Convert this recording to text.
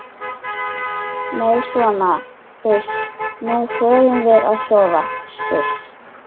Nei sona uss, nú förum við að sofa suss.